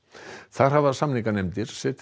þar